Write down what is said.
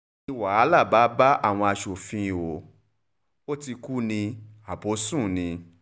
ni wàhálà bá bá àwọn aṣòfin ó ti kú ní abọ́ sùn ni